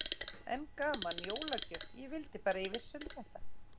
Enn gaman, jólagjöf, ég vildi bara að ég vissi um þetta.